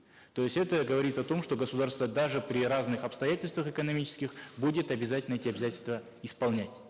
то есть это говорит о том что государство даже при разных обстоятельствах экономических будет обязательно эти обязательства исполнять